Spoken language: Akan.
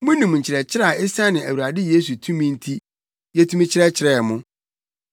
Munim nkyerɛkyerɛ a esiane Awurade Yesu tumi nti, yetumi kyerɛkyerɛɛ mo.